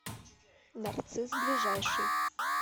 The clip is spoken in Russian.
нарцисс ближайший